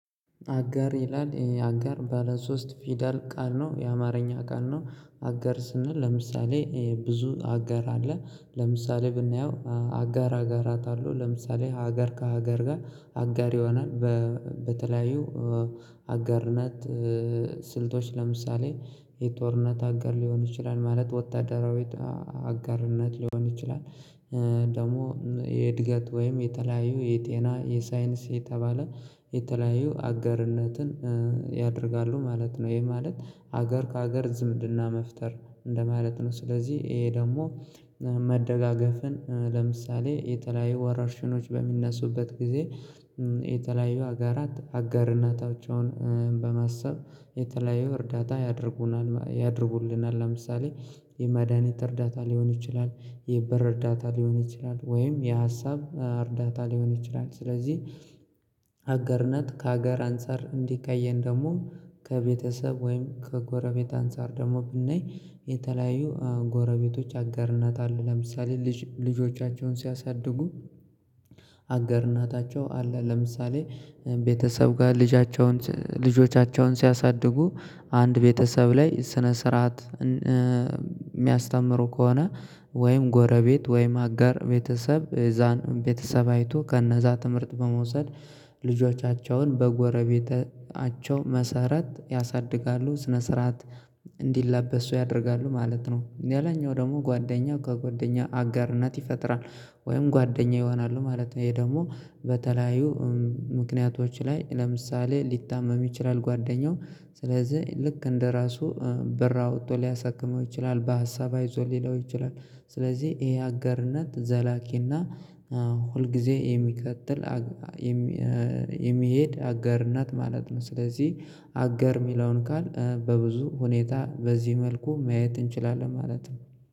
አጋር ይላል አጋር ባለ ሶስት ፊደል ቃል ነው የአማርኛ ቃል ነው። አጋር ስንል ለምሳሌ ብዙ አጋር አለ። ለምሳሌ ብናየው አጋር አጋራት አለው ለምሳሌ ሀገር ከሀገር ጋር። አጋር የሆነን በተለያዩ አጋርነት ስልቶች ለምሳሌ የጦርነት አገር ሊሆን ይችላል ማለት ወታደራዊት አጋርነት ሊሆን ይችላል። ደግሞ የእድገት ወይም የተለያዩ የጤና የሳይንስ የተባለ የተለያዩ አገርነትን ያደርጋሉ ማለት ነው። ይሄ ማለት ሀገር ከሀገር ዝምድና መፍጠር እንደማለት ነው። ስለዚህ ይሄ ደግሞ መደጋገፍን ለምሳሌ የተለያዩ ወረርሽኖች በሚነሱበት ጊዜ። የተለያዩ አገራት አጋር እናታቸውን በማሰብ የተለያዩ እርዳታ ያድርጉናል ያደርጉልናል ለምሳሌ የመድሃኒት እርዳታ ሊሆን ይችላል። የብር እርዳታ ሊሆን ይችላል ወይም የሀሳብ እርዳታ ሊሆን ይችላል። ስለዚህ አጋርነት ከሀገር አንፃር እንዲ ካየን ደግሞ ከቤተሰብ ወይም ከጎረቤት አንፃር ደግሞ ብናይ የተለያዩ ጎረቤቶች አጋር እናት አለ። ለምሳሌ ልጆቻቸውን ሲያሳድጉ። አጋር እናታቸው አለ። ለምሳሌ የተለያዩ ሀጋራት አጋር እናታቸውን በማሰብ የተለያዩ እርዳታ ያድርጉናል ያደርጉልናል ለምሳሌ የመዳኒት እርዳታ ሊሆን ይችላል የበር እርዳታ ሊሆን ይችላል። ወይም የሀሳብ እርዳታ ሊሆን ይችላል ስለዚህ ወይም ጎረቤት ወይም አጋር ቤተሰብ የዛን ቤተሰብ አይቶ ከእነዛ ትምህርት በመውሰድ ልጆቻቸውን በጎረቤታቸው መሰረት ያሳድጋሉ ስነ ስርዓት እንዲላበሱ ያደርጋሉ ማለት ነው። ሌላኛው ደግሞ ጓደኛ ከጓደኛ አጋርነት ይፈጥራል ወይም ጓደኛ ይሆናሉ ማለት ነው። ይሄ ደግሞ በተለያዩ ምክንያቶች ላይ ለምሳሌ ሊታመም ይችላል ጓደኛው ስለዚህ ልክ እንደራሱ ብር አውጥቶ ሊያሰክመው ይችላል በሀሳብ አይዞህ ሊለው ይችላል። ስለዚህ ይሄ አጋርነት ዘላቂና ሁልጊዜ የሚቀጥል የሚሄድ አጋር እናት ማለት ነው። ስለዚህ አጋር የሚለውን ቃል በብዙ ሁኔታ በዚህ መልኩ ማየት እንችላለን ማለት ነው።